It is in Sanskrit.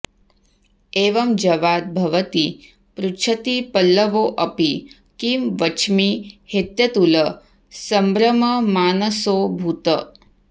एवं जवाद् भवति पृच्छति पल्लवोऽपि किं वच्मि हेत्यतुलसम्भ्रममानसोऽभूत्